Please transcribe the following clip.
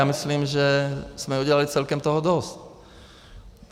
Já myslím, že jsme udělali celkem toho dost.